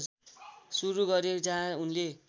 सुरु गरे जहाँ उनले